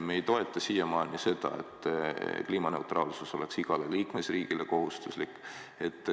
Me ei toeta siiamaani seda, et kliimaneutraalsus oleks igale liikmesriigile kohustuslik.